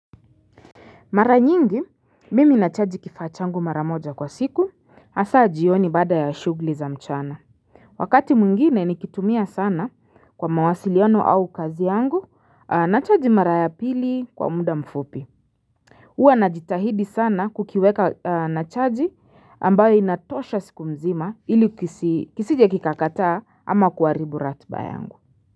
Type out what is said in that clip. Mara nyingi mimi nachaji kifaa changu mara moja kwa siku Asa jioni baada ya shugli za mchana Wakati mwingine nikitumia sana kwa mawasiliano au kazi yangu nachaji mara ya pili kwa muda mfupi Uwa najitahidi sana kukiweka nachaji ambayo inatosha siku mzima ili kisije kikakataa ama kuharibu ratba yangu.